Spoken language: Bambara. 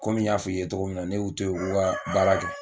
Kɔmi n y'a f'i ye togo min na, ne y'u to yen u k'u ka baara kɛ